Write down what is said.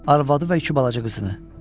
Arvadı və iki balaca qızını.